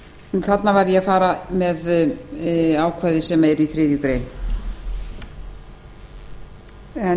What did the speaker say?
þarna var ég að fara með ákvæði sem eru í þriðju grein en í